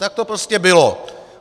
Tak to prostě bylo!